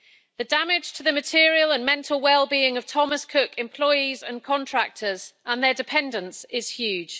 The damage to the material and mental well being of Thomas Cook employees and contractors and their dependants is huge.